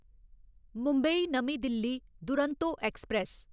मुंबई नमीं दिल्ली दुरंतो ऐक्सप्रैस